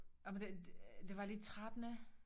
Ej men det det var lidt trættende